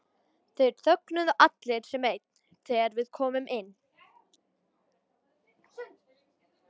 Þeir þögnuðu allir sem einn þegar við komum inn.